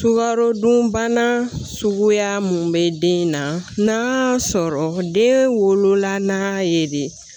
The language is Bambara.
Sukarodunbana suguya mun be den in na sɔrɔ den wolola n'a ye de